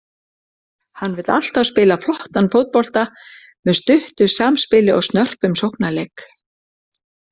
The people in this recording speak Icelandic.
Hann vill alltaf spila flottan fótbolta með stuttu samspili og snörpum sóknarleik.